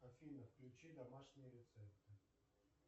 афина включи домашние рецепты